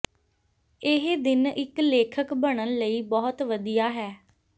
ਇਹ ਦਿਨ ਇੱਕ ਲੇਖਕ ਬਣਨ ਲਈ ਬਹੁਤ ਵਧੀਆ ਹੈ